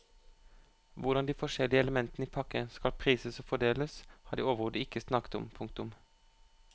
Hvordan de forskjellige elementene i pakken skal prises og fordeles har de overhodet ikke snakket om. punktum